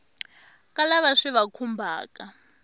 ka lava swi va khumbhaka